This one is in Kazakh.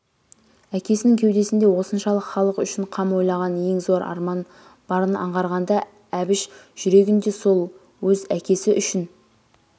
әкесінің кеудесінде осыншалық халық үшін қам ойлаған ең зор арман барын аңғарғанда әбіш жүрегінде сол өз әкесі үшін